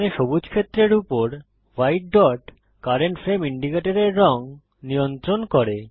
এখানে সবুজ ক্ষেত্রের উপর ভাইট ডট কারেন্ট ফ্রেম ইন্ডিকেটরের রঙ নিয়ন্ত্রণ করে